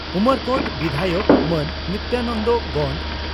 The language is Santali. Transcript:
ᱩᱢᱚᱨᱠᱚᱴ ᱵᱤᱫᱷᱟᱭᱚᱠ ᱢᱟᱹᱱ ᱱᱤᱛᱭᱟᱱᱚᱱᱫᱚ ᱜᱚᱱᱰ